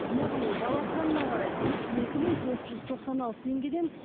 яғни бала санына қарай қырық екі мың төрт жүз тоқсан алты теңгеден